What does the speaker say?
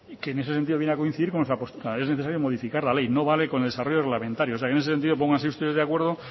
que en ese sentido viene a coincidir con nuestra postura que es necesario modificar la ley no vale con el desarrollo reglamentario o sea que en ese sentido pónganse ustedes de acuerdo